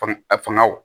Fanga fangaw